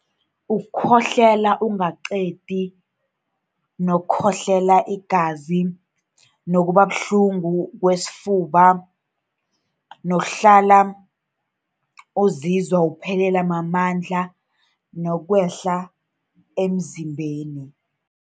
Ukukhohlela ungaqedi, nokukhohlela igazi, nokuba buhlungu kwesifuba, nokuhlala uzizwa uphelelwa mamandla nokwehla emzimbeni.